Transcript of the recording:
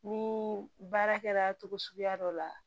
Ni baara kɛra togo suguya dɔ la